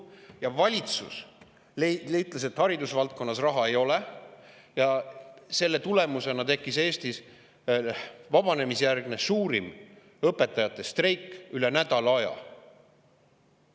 Valitsus ütles, et haridusvaldkonnas raha ei ole ja selle tõttu tekkis Eestis vabanemisjärgne suurim õpetajate streik, üle nädala aja.